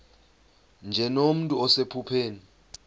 nje nomntu osephupheni